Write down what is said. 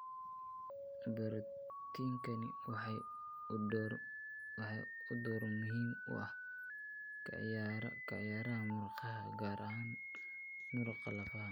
Barootiinkani waxa uu door muhiim ah ka ciyaaraa muruqa, gaar ahaan muruqa lafaha.